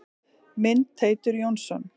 Mynd: Teitur Jónsson.